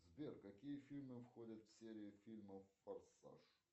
сбер какие фильмы входят в серию фильмов форсаж